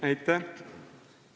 Aitäh!